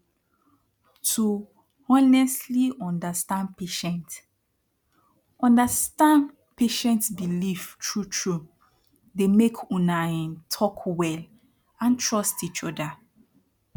to honestli understand patient understand patient belief turtru dey mek una um talk wel and trust each oda